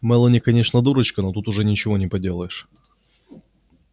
мелани конечно дурочка но тут уж ничего не поделаешь